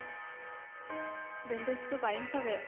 বেণ্ডেছটো পাৰিম ছাগে